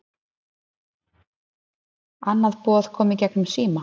Annað boði kom í gegnum síma